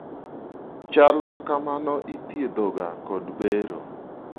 chal makamano ithiedhoga kod bero